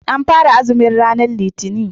An fara azumi ranar Litinin.